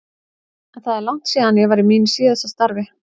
En það er langt síðan ég var í mínu síðasta starfi.